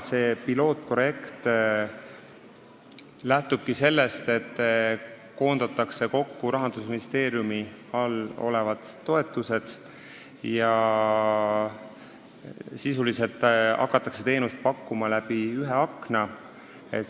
See pilootprojekt lähtub sellest, et Rahandusministeeriumi all olevad toetused koondatakse kokku ja sisuliselt hakatakse teenust pakkuma läbi ühe akna.